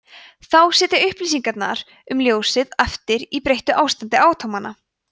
þá sitja upplýsingarnar um ljósið eftir í breyttu ástandi atómanna